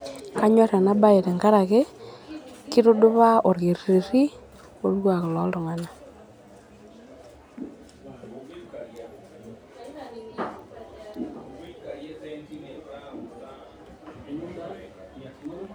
kanyor ena bae tenkaraki kitudupaa orkerereti lorkwak loltunganak